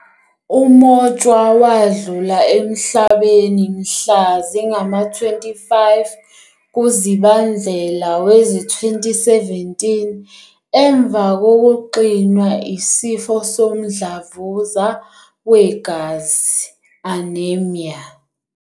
UMotshwa wadlula emhlabeni mhla zingama-25 kuZibandlela wezi-2017 emva kokuxinwa yisifo somdlavuza wegazi, "anaemia".